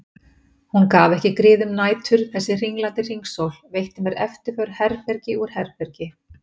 Hún gaf ekki grið um nætur þessi hringlandi hringsól, veitti mér eftirför herbergi úr herbergi.